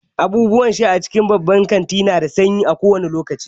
Abubuwan sha a cikin babban kanti nada sanyi kowane lokaci